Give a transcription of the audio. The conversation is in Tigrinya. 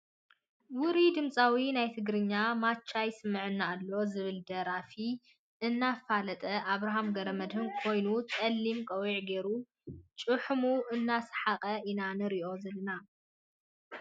ውሩይ ድምፃዊ ናይ ትግርኛ ማቻ ይስመዓኒ ኣሎ ዝብል ደርፉ እናፈለጠ ኣብርሃም ገረመድሂን ኮይኑ ፀሊም ቆቢዕ ጌሩ ጪሒሙ እናሰሓቀ ኢና ንሪኦ ዘለና።